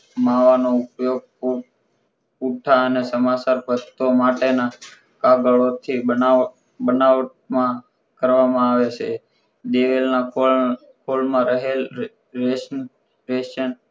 માવાનો ઉપયોગ પૂ પૂઠાં અને સમાચાર પસતો માટેના કાગળ થી બનાવ બનાવટ માં કરવામાં આવે છે દિવેલ ના પણ ફળ માં રહેલ રેસમ રેસમ